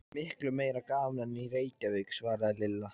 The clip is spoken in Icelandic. Miklu meira gaman en í Reykjavík svaraði Lilla.